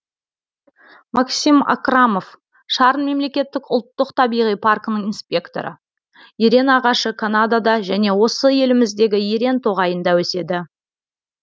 максим акрамов шарын мемлекеттік ұлттық табиғи паркінің инспекторы ерен ағашы канадада және осы еліміздегі ерен тоғайында өседі